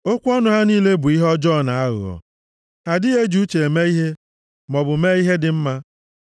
Okwu ọnụ ha niile bụ ihe ọjọọ na aghụghọ; ha adịghị eji uche eme ihe maọbụ mee ihe dị mma.